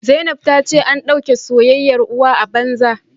Zainab ta ce an dauke soyayyar uwa a banza